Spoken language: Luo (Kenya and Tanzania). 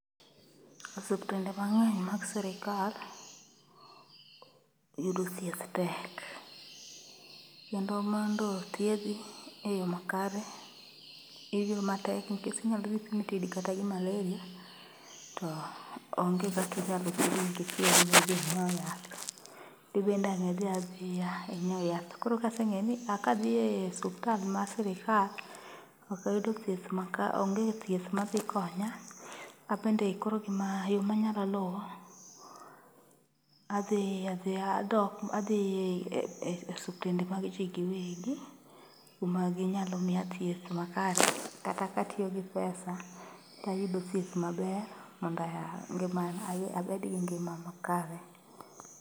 Osiptende mang'eny mag sirikal, yudo thieth tek. Kendo mondo othiedhi e yo makare, iyweyo matek nikech inyalo dhi pimi tiyudi kata gi maleria. To onge kakinyalo thiedhi nikech yath. Tibende an'g nidhi adhiya ing'iew yath. Koro kaseng'e ni a kadhiye suptal ma sirikal, okayudo thieth maka, onge thieth madhi konya. Abende koro gima yo manyalo luwo, adhi adhiya, adhi e osuptende mag ji giwegi kuma ginyalo miya thieth makare kata katiyo gi pesa tayudo thieth maber mondo abed gi ngima makare.